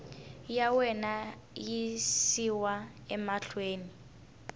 ya wena yi yisiwa mahlweni